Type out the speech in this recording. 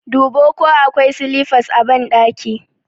Dubo ko akwai silifas a ɓandaki!